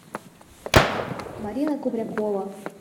марина кубрякова